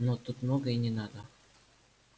но тут много и не надо